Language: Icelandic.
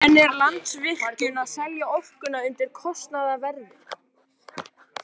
En er Landsvirkjun að selja orkuna undir kostnaðarverði?